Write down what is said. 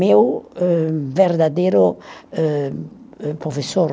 Meu âh, verdadeiro âh, professor